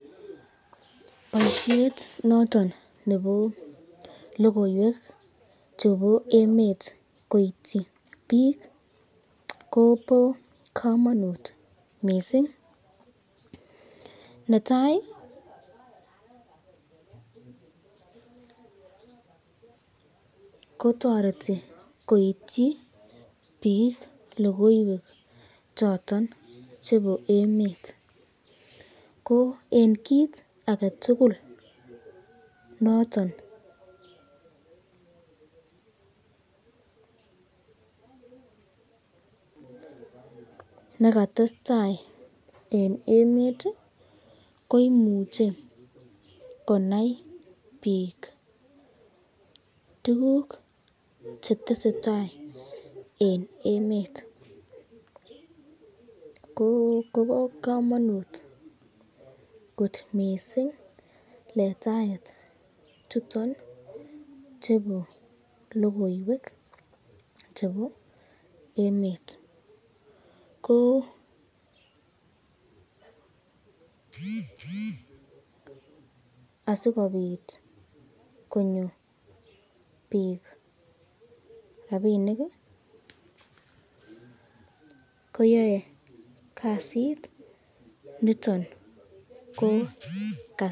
Boisyet noton nebo logoywek chebo emet koityi bik ,ko bo kamanut mising, netai kotoreti koityi bik lokoywek choton chebo emet, ko eng kit aketukul noton nekatestai eng emet ko imuche konai bik tukuk chetesetai eng emet, Kobo kamanut kot mising letaet chuton chebo lokoywek chebo emet, ko asikobit konyor bik rapinik koyae kasit niton.